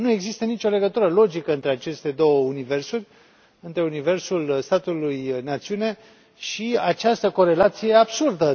Nu există nicio legătură logică între aceste două universuri, între universul statului națiune și această corelație absurdă.